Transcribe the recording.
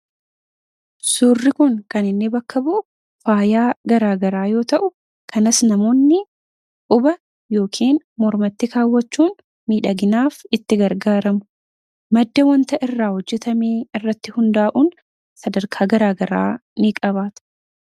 Suurri kun kan inni bakka bu’u faayaa gara garaa yoo ta’u, kanas namoonni quba yookaan normative kaawwachuun miidhaginaaf itti gargaaramu. Madda wantoota irraa hojjetamee irratti hundaa'uun sadarkaa gara garaa ni qabaata.